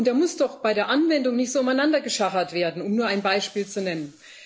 Und da muss doch bei der Anwendung nicht so umeinander geschachert werden, um nur ein Beispiel zu nennen.